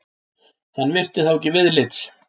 Hann virti þá ekki viðlits.